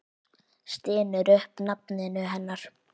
Stynur upp nafninu hennar.